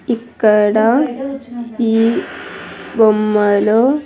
ఇక్కడ ఈ బొమ్మలో.